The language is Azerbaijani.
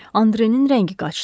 Andrenin rəngi qaçdı.